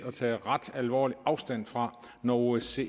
at tage ret alvorligt afstand når osce